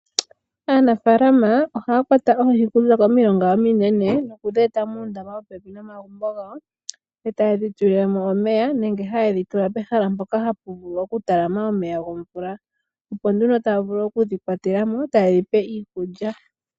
Aanafalama ohaya kwata oohi okuza komilonga ominene, nokudhi eta muundama popepi nomagumbo gawo, e tayedhi tulilemo omeya, nenge hayedhi tula pehala mpoka hapu vulu okutalama omeya gomvula. Opo nduno taya vulu okudhi kwatelamo, tayedhi pe iikulya.